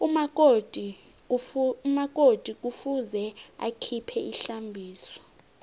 umakoti kufuze akhiphe ihlambiso